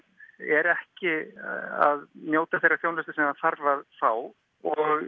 er ekki að njóta þeirra þjónustu sem það þarf að fá og